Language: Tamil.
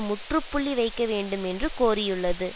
முற்றுப்புள்ளி வைக்க வேண்டும் என்று கோரியுள்ளது